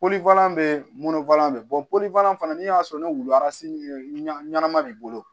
bɛ munu fɔlan bɛ fana na n'i y'a sɔrɔ ni wulu ɲɛnama b'i bolo